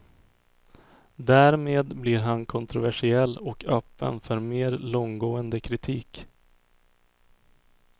Därmed blir han kontroversiell och öppen för mer långtgående kritik.